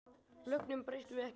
Lögunum breytum við ekki.